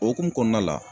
Okumu kɔnɔna la